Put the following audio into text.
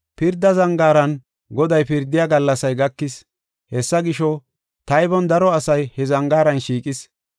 Pirda zangaaran Goday pirdiya gallasay gakis; hessa gisho, taybon daro asay he zangaaran shiiqis.